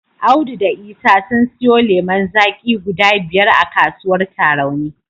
Audu da Isa sun siyo lemon zaki guda biyar a kasuwar Tarauni.